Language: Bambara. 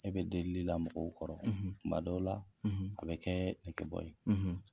E bɛ delili la mɔgɔw kɔrɔ, , kuma dɔw la a bɛ kɛ nege bɔ ye.